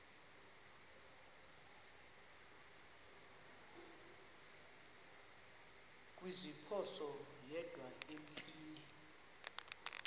kuziphosa yedwa empini